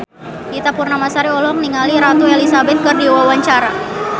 Ita Purnamasari olohok ningali Ratu Elizabeth keur diwawancara